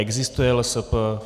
Existuje LSP.